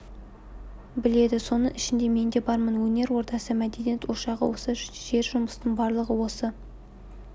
біледі соның ішінде мен де бармын өнер ордасы мәдениет ошағы осы жер жұмыстың барлығы осы